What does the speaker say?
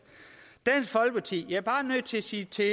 jeg er bare nødt til at sige til